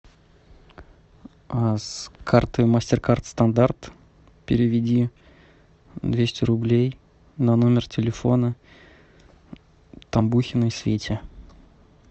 с карты мастер кард стандарт переведи двести рублей на номер телефона тамбухиной свете